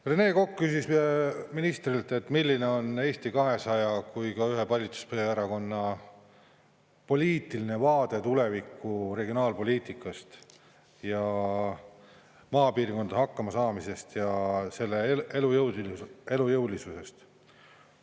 Rene Kokk küsis ministrilt, milline on Eesti 200 kui ka ühe valitsuserakonna poliitiline vaade tuleviku regionaalpoliitikast ja maapiirkondade hakkama saamisest ja nende elujõulisusest.